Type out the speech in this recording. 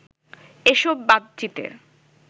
এসব বাতচিতের